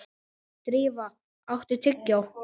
Drífa, áttu tyggjó?